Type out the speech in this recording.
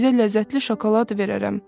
Sizə ləzzətli şokolad verərəm.